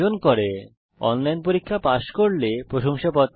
যারা অনলাইন পরীক্ষা পাস করে তাদের প্রশংসাপত্র দেয়